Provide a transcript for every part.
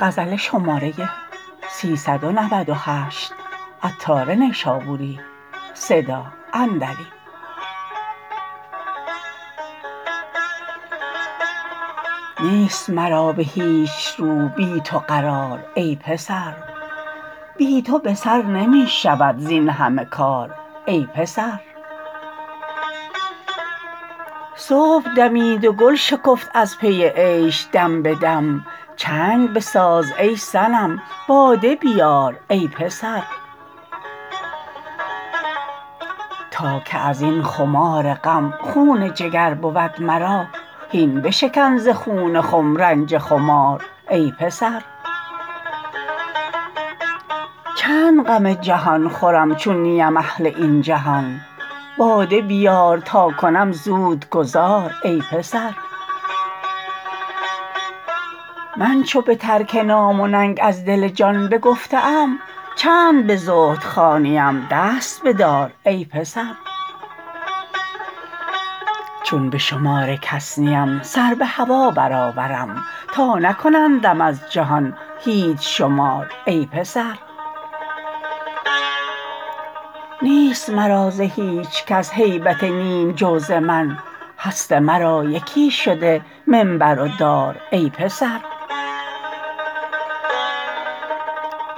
نیست مرا به هیچ رو بی تو قرار ای پسر بی تو به سر نمی شود زین همه کار ای پسر صبح دمید و گل شکفت از پی عیش دم به دم چنگ بساز ای صنم باده بیار ای پسر تا که ازین خمار غم خون جگر بود مرا هین بشکن ز خون خم رنج خمار ای پسر چند غم جهان خورم چون نیم اهل این جهان باده بیار تا کنم زود گذار ای پسر من چو به ترک نام و ننگ از دل جان بگفته ام چند به زهد خوانیم دست بدار ای پسر چون به شمار کس نیم سر به هوا برآورم تا نکنندم از جهان هیچ شمار ای پسر نیست مرا ز هیچکس هیبت نیم جو ز من هست مرا یکی شده منبر و دار ای پسر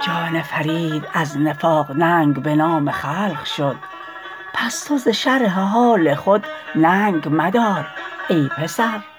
جان فرید از نفاق ننگ به نام خلق شد پس تو ز شرح حال خود ننگ مدار ای پسر